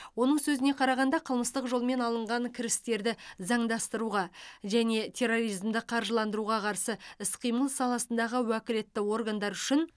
оның сөзіне қарағанда қылмыстық жолмен алынған кірістерді заңдастыруға және терроризмді қаржыландыруға қарсы іс қимыл саласындағы уәкілетті органдар үшін